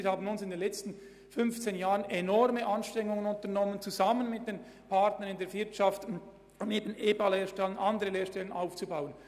Wir haben in den letzten 15 Jahren gemeinsam mit den Partnern aus der Wirtschaft enorme Anstrengungen unternommen, um neue Lehrstellen – auch EBA-Lehrstellen – aufzubauen.